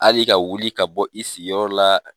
Hali ka wuli ka bɔ i sigiyɔrɔ la